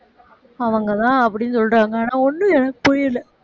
அவங்கதான் அப்படின்னு சொல்றாங்க ஆனா ஒண்ணும் எனக்கு புரியலை